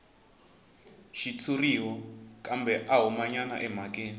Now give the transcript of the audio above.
xitshuriwa kambe a humanyana emhakeni